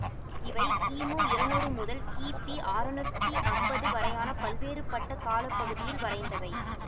இவை கிமு இருநூறு முதல் கிபி அறநூத்தி அம்பது வரையான பல்வேறுபட்ட கால பகுதியில் வரைந்தவை